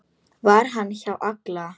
Var hún hjá Halla?